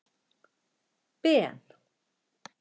Ben